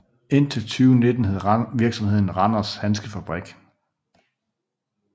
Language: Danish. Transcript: Indtil 2019 hed virksomheden Randers Handskefabrik